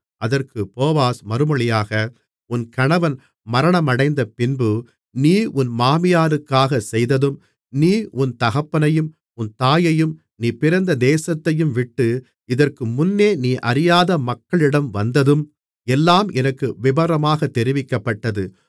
அதற்கு போவாஸ் மறுமொழியாக உன் கணவன் மரணமடைந்தபின்பு நீ உன் மாமியாருக்காகச் செய்ததும் நீ உன் தகப்பனையும் உன் தாயையும் நீ பிறந்த தேசத்தையும் விட்டு இதற்கு முன்னே நீ அறியாத மக்களிடம் வந்ததும் எல்லாம் எனக்கு விபரமாகத் தெரிவிக்கப்பட்டது